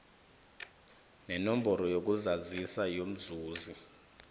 nenomboro yokuzazisa yomzuzi